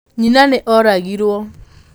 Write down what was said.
Nyina nĩ oragirũo.